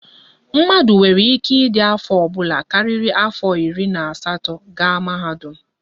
Mmadụ nwere ike ịdị afọ ọbụla karịrị afọ iri na asatọ gaa mahadum